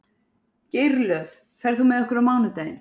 Geirlöð, ferð þú með okkur á mánudaginn?